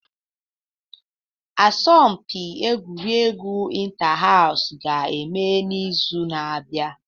Asọmpi Egwuregwu Inter-House ga-eme n'izu na-abịa